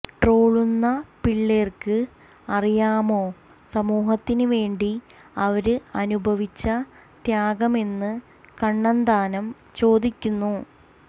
ട്രോളുന്ന പിള്ളേര്ക്ക് അറിയാമോ സമൂഹത്തിന് വേണ്ടി അവര് അനുഭവിച്ച ത്യാഗമെന്ന് കണ്ണന്താനം ചോദിക്കുന്നു